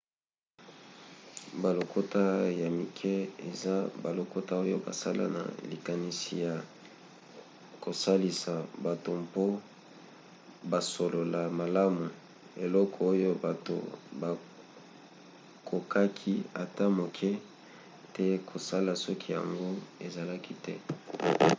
balokota ya mike eza balokota oyo basala na likanisi ya kosalisa bato mpo basolola malamu; eloko oyo bato bakokaki ata moke te kosala soki yango ezalaki te